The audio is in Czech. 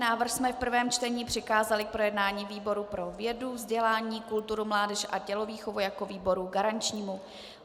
Návrh jsme v prvém čtení přikázali k projednání výboru pro vědu, vzdělání, kulturu, mládež a tělovýchovu jako výboru garančnímu.